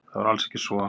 Það var alls ekki svo.